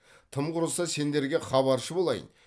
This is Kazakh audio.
тым құрыса сендерге хабаршы болайын